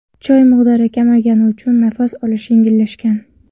Choy miqdori kamaygani uchun nafas olish yengillashgan.